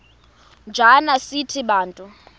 njana sithi bantu